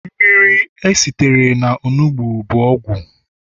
mmiri esitere na onugbu bu ogwu